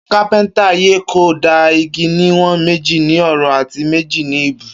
Kapińtà yẹ kó dà ìgí ni wón méji ní òró àtí méjì ni ìbú